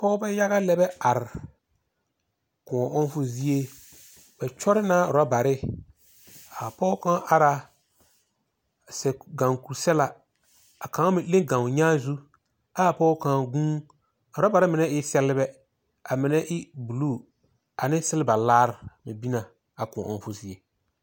Pɔgebɛ yaga lɛbɛ are, kõɔ ɔŋfo zie. Bɛ kyɔrɔ na orɔbare. A pɔge kaŋ ara, a sɛ gaŋ kur-sɛlaa ɛ a kaŋ meŋ hle gaŋ o nyaa zu, ɛ a pɔge kaŋ guun. A orɔbare mine sɛlebɛ, a mine e buluu, ane selba laar bɛ bin na, a kõɔ ɔŋfo zie.